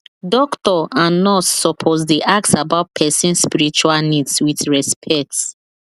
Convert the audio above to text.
doctor and nurse suppose dey ask about person spiritual needs with respect